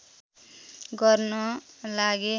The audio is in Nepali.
गर्न लागे